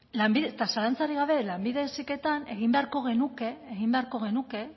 eta zalantzarik gabe lanbide heziketan egin beharko genuke